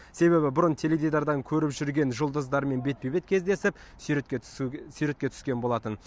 себебі бұрын теледидардан көріп жүрген жұлдыздармен бетпе бет кездесіп суретке түсу суретке түскен болатын